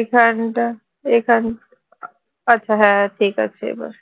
এখানটা এখান আচ্ছা হ্যাঁ ঠিক আছে এবার